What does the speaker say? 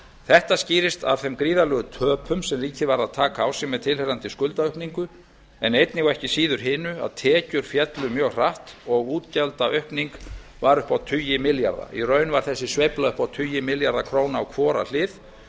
þetta skýrist af gríðarlegum töpum sem ríkið varð að taka á sig með tilheyrandi skuldaaukningu en einnig og ekki síður hinu að tekjur féllu mjög hratt og útgjaldaaukning varð upp á tugi milljarða í raun var þessi sveifla upp á tugi milljarða króna á hvora hlið